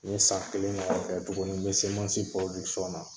N ye san kelen ɲɔgɔn tugun n bɛ semansi na.